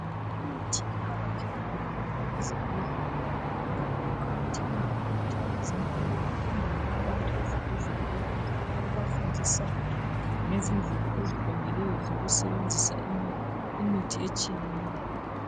Imithi iqakathekile kakhulu ezibhedlela njalo kuqakathekile kakhulu ukuthi abazempilo bahambele abantu ezibhedlela bebafundisa ngezindlela eziqondileyo ezokusebenzisa imithi etshiyeneyo